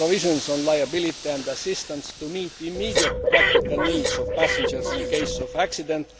the provisions on liability and assistance to meet the immediate practical needs of passengers in the case of accident